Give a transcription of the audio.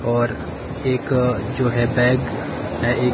और एक जो है बैग है ए--